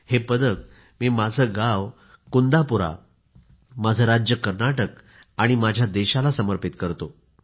हे पदक मी माझे गाव कुंदापुरा आणि माझे राज्य कर्नाटक आणि माझ्या देशाला समर्पित करतो